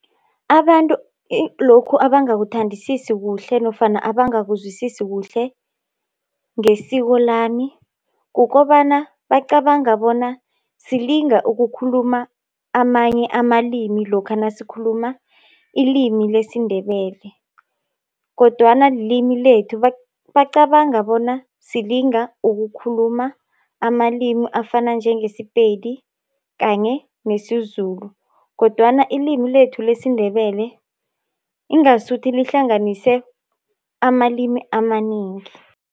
Abantu lokhu abangakuthandisisi kuhle, nofana abangakuzwisisi kuhle ngesiko lami, kukobana bacabanga bona silinga ukukhuluma amanye amalimi lokha nasikhuluma ilimi lesiNdebele, kodwana LIlimi lethu. Bacabanga bona silinga ukukhuluma amalimI afana njengeSePedi kanye nesiZulu, kodwana ilimi lethu lesiNdebele ingasuthi lihlanganise amalimi amanengi.